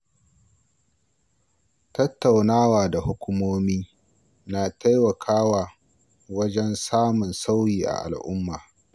Tattaunawa da hukumomi na taimakawa wajen samun sauyi a al’umma.